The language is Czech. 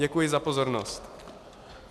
Děkuji za pozornost.